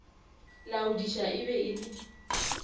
laodiša e be e le